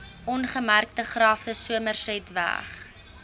ongemerkte grafte somersetweg